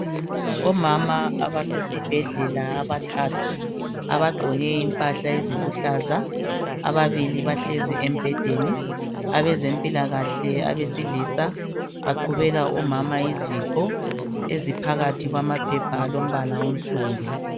Omama abasesibhedlela abathathu abagqoke impahla eziluhlaza ababili bahlezi embhedeni abezempilakahle abesilisa baqhubela omama izipho eziphakathi kwamaphepha alombala onsundu.